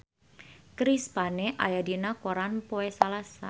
Chris Pane aya dina koran poe Salasa